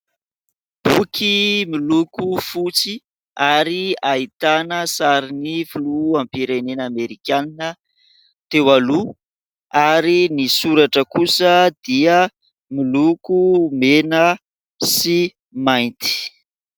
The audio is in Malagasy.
Boky miloko fotsy ary ahitana sary ny filoham-pirenena Amerikana teo aloha ary ny soratra kosa dia miloko mena sy mainty.